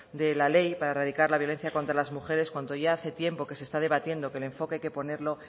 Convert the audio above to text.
de la ley para erradicar la violencia contra las mujeres cuando ya hace tiempo que se está debatiendo que el enfoque hay que ponerlo